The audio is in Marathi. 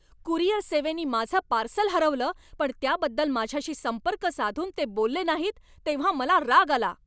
कुरिअर सेवेनी माझं पार्सल हरवलं पण त्याबद्दल माझ्याशी संपर्क साधून ते बोलले नाहीत तेव्हा मला राग आला.